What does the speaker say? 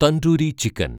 tandoori chicken